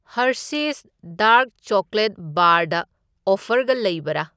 Hershey's dark chocolate ꯕꯥꯔꯗ ꯑꯣꯐꯔꯒ ꯂꯩꯕꯔꯥ?